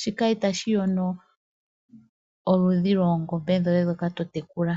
Shika itashi yono oludhi lwoongombe dhoye ndhoka totekula.